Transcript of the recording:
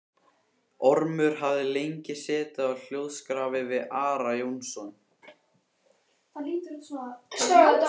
Ormur hafði lengi setið á hljóðskrafi við Ara Jónsson.